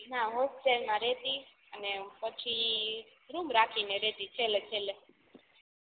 ના હોસ્ટેલ માં રઈતી અને પછી રૂમ રાખીને રેતી છેલ્લે છેલ્લે